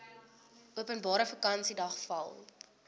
openbare vakansiedag val